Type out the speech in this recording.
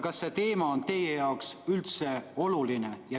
Kas see teema on teie jaoks üldse oluline?